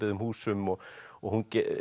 húsum og og hún